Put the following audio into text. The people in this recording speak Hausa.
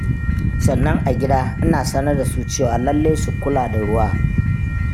Sannan a gida ina sanar da su cewa lallai su kula da ruwa.